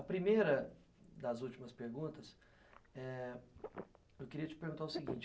A primeira das últimas perguntas, eu queria te perguntar o seguinte.